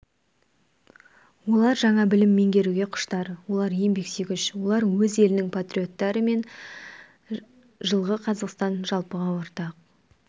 олар жаңа білім меңгеруге құштар олар еңбексүйгіш олар өз елінің патриоттары мен жылғы қазақстан жалпыға ортақ